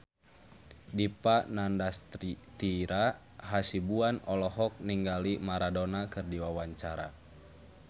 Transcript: Dipa Nandastyra Hasibuan olohok ningali Maradona keur diwawancara